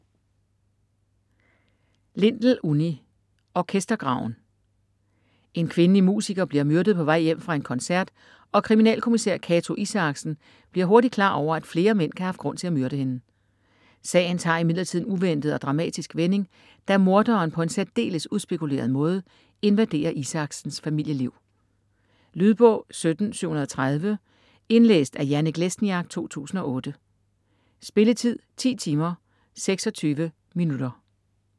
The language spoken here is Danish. Lindell, Unni: Orkestergraven En kvindelig musiker bliver myrdet på vej hjem fra en koncert, og kriminalkommisær Cato Isaksen bliver hurtigt klar over, at flere mænd kan have haft grund til at myrde hende. Sagen tager imidlertid en uventet og dramatisk vending, da morderen på en særdeles udspekuleret måde invaderer Isaksens familieliv. Lydbog 17730 Indlæst af Janek Lesniak, 2008. Spilletid: 10 timer, 26 minutter.